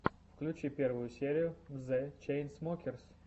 включи первую серию зе чейнсмокерс